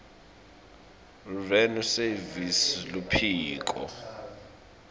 revenue service luphiko